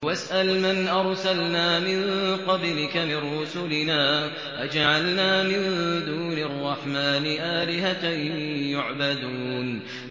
وَاسْأَلْ مَنْ أَرْسَلْنَا مِن قَبْلِكَ مِن رُّسُلِنَا أَجَعَلْنَا مِن دُونِ الرَّحْمَٰنِ آلِهَةً يُعْبَدُونَ